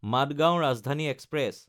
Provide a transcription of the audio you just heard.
Madgaon Rajdhani express